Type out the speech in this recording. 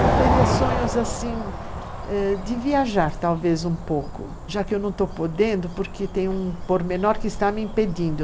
Eu teria sonhos, assim, ãh, de viajar talvez um pouco, já que eu não estou podendo, porque tem um pormenor que está me impedindo.